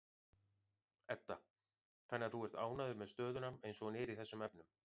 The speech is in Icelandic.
Edda: Þannig að þú ert ánægður með stöðuna eins og hún er í þessum efnum?